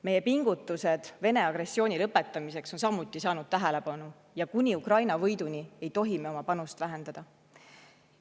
Meie pingutused Vene agressiooni lõpetamiseks on samuti saanud tähelepanu ja kuni Ukraina võiduni ei tohi me oma panust vähendada.